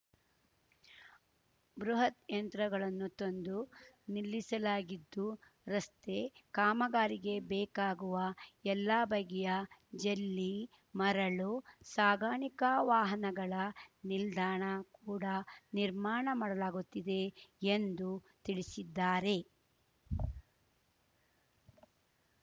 ಬೃಹತ್‌ ಯಂತ್ರಗಳನ್ನು ತಂದು ನಿಲ್ಲಿಸಲಾಗಿದ್ದು ರಸ್ತೆ ಕಾಮಗಾರಿಗೆ ಬೇಕಾಗುವ ಎಲ್ಲಾ ಬಗೆಯ ಜಲ್ಲಿ ಮರಳು ಸಾಗಾಣಿಕಾ ವಾಹನಗಳ ನಿಲ್ದಾಣ ಕೂಡ ನಿರ್ಮಾಣ ಮಾಡಲಾಗುತ್ತಿದೆ ಎಂದು ತಿಳಿಸಿದ್ದಾರೆ